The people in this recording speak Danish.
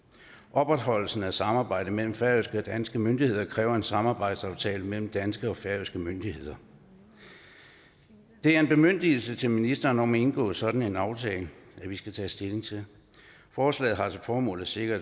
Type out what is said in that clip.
opretholdelsen af samarbejdet mellem færøske og danske myndigheder kræver en samarbejdsaftale mellem danske og færøske myndigheder det er en bemyndigelse til ministeren om at indgå sådan en aftale vi skal tage stilling til forslaget har til formål at sikre